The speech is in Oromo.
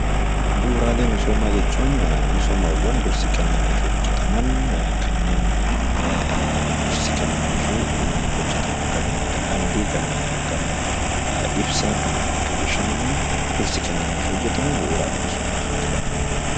Misoomaawwan bu'uuraa jechuun misoomaawwan dursi kennameefii hojjataman kanneen akka daandii , ibsaa, bishaanii dursi kennameefii hojjatamu misooma bu'uuraa jedhama